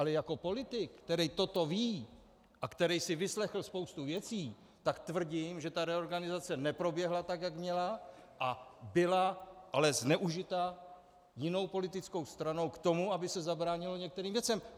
Ale jako politik, který toto ví a který se vyslechl spoustu věcí, tak tvrdím, že ta reorganizace neproběhla tak, jak měla a byla ale zneužita jinou politickou stranou k tomu, aby se zabránilo některým věcem.